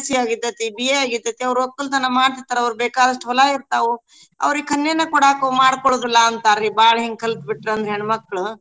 BSc ಆಗೀರ್ತೇತಿ BA ಆಗೀರ್ತೇತಿ ಅವ್ರ ವಕ್ಕಲ್ತನ ಮಾಡ್ತೀರ್ತಾರಾ ಅವ್ರ ಬೇಕಾದಸ್ಟು ಹೊಲ ಇರ್ತಾವು ಅವರೀಗ ಕನ್ನೇನ ಕೊಡಾಕ್ ಮಾಡ್ಕೊಳೋದಿಲ್ಲಾ ಅಂತಾರ್ರೀ ಬಾಳ್ ಹಿಂಗ ಕಲ್ತ ಬಿಟ್ರಂದ್ರ ಹೆಣ್ಮಕ್ಳು.